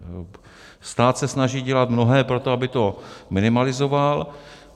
Stát se snaží dělat mnohé pro to, aby to minimalizoval.